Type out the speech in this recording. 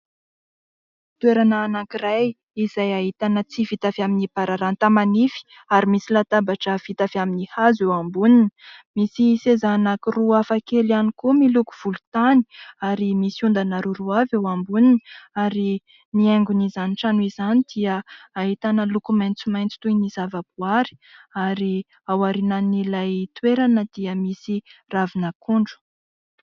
Toerana anankiray izay ahitana tsihy vita avy amin'ny bararata manify, ary misy latabatra vita avy amin'ny hazo eo amboniny. Misy seza anankiroa hafakely ihany koa, miloko volontany, ary misy ondana roaroa avy eo amboniny. Ary ny haingon'izany trano izany dia ahitana loko maitsomaitso toy ny zavaboary, ary ao aorianan'ilay toerana dia misy ravin'akondro.